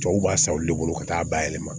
Cɛw b'a san olu de bolo ka taa bayɛlɛma